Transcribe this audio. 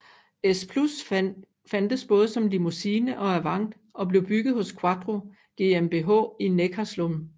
S6 plus fandtes både som Limousine og Avant og blev bygget hos quattro GmbH i Neckarsulm